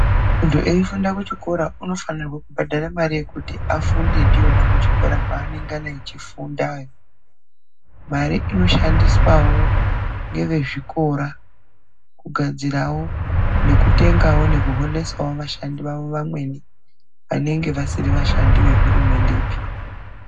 Mundu eifunda kuchikora anofana kubhadhara mari yekuti afunde ndiyona kuchikora kwaanenga echifunda. Mare inoshandiswa nevezvikora kugadzirisawo nekutengawo nekuholesawo vashandi vavo vamweni, vanenge vasiri vashandi zvehurumendepi.